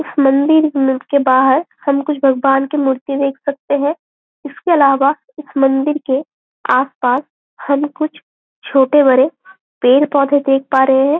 इस मंदिर के बाहर हम कुछ भगवान कि मूर्ति देख सकते है इसके अलावा इस मंदिर के आसपास हम कुछ छोटे बड़े पेड़-पौधे देख पा रहें है।